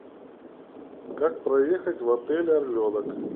как проехать в отель орленок